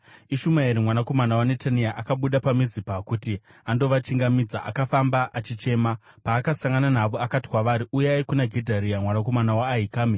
Ishumaeri mwanakomana waNetania akabuda paMizipa kuti andovachingamidza, akafamba achichema. Paakasangana navo, akati kwavari, “Uyai kuna Gedharia mwanakomana waAhikami.”